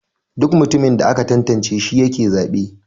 Duk mutumin da aka tantance shi yake zabe.